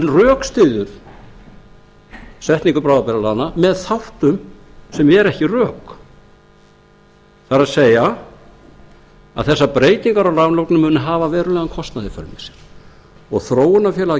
rökstyður setningu bráðabirgðalaganna með þáttum sem eru ekki rök það er að þessar breytingar á muni hafa verulegan kostnað í för með sér og þróunarfélag